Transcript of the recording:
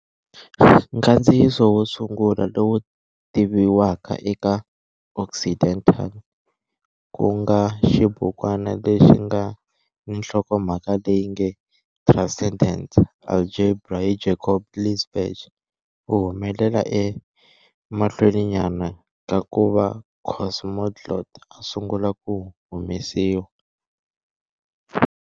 Nkandziyiso wo sungula lowu tiviwaka eka Occidental, ku nga xibukwana lexi nga ni nhlokomhaka leyi nge "Transcendent Algebra" hi Jacob Linzbach, wu humelele emahlweninyana ka ku va Kosmoglott a sungula ku humesiwa.